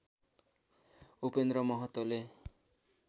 Upendra महतोले